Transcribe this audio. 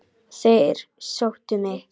Og þeir sóttu mig.